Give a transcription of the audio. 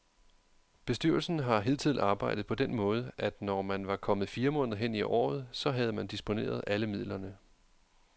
Bestyrelsen har hidtil arbejdet på den måde, at når man var kommet fire måneder hen i året, så havde man disponeret alle midlerne.